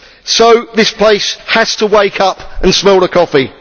So, this place has to wake up and smell the coffee.